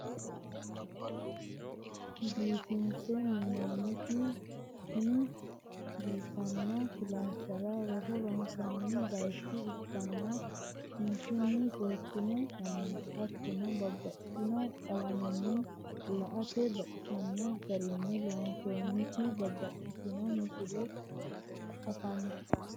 biifinse minooniti tinni biifano kilaasa roso ronsanni bayicho ikanna kinchunni seekine minoonita leelishano hatono babaxitino qalamanni la'ate baxisano garini loonsoonti babaxitinno misile afanitano.